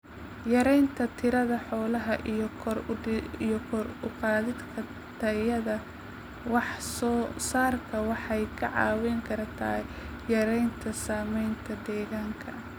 Yaraynta tirada xoolaha iyo kor u qaadida tayada wax soo saarka waxay kaa caawin kartaa yaraynta saamaynta deegaanka.